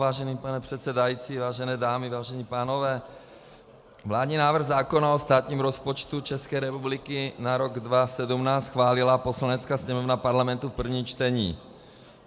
Vážený pane předsedající, vážené dámy, vážení pánové, vládní návrh zákona o státním rozpočtu České republiky na rok 2017 schválila Poslanecká sněmovna Parlamentu v prvním čtení.